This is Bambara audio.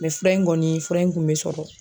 fura in kɔni fura in kun bɛ sɔrɔ.